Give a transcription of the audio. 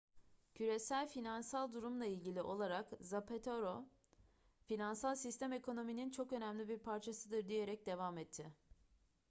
küresel finansal durumla ilgili olarak zapatero finansal sistem ekonominin çok önemli bir parçasıdır diyerek devam etti